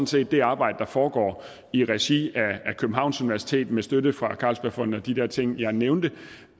set at det arbejde der foregår i regi af københavns universitet med støtte fra carlsbergfondet og de der ting som jeg nævnte